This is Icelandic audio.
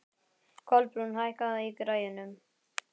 Kolbrún, hækkaðu í græjunum.